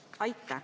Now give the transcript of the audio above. Aitäh!